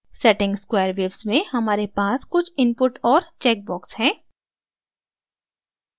setting squarewaves में हमारे पास कुछ input और चेकबॉक्स हैं